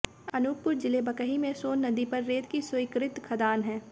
अनूपपुर जिले बकही में सोन नदी पर रेत की स्वीकृत खदान है